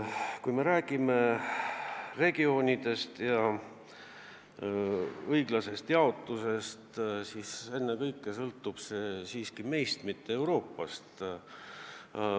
Kui me räägime regioonidest ja raha õiglasest jaotusest, siis ennekõike sõltub see siiski meist, mitte Euroopa Liidust.